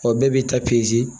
Ɔ bɛɛ b'i ta